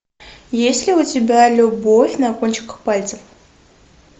есть ли у тебя любовь на кончиках пальцев